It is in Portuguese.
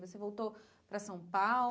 Você voltou para São